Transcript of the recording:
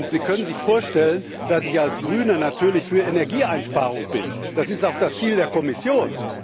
Sie können sich vorstellen, dass ich als Grüner natürlich für Energieeinsparung bin, das ist auch das Ziel der Kommission.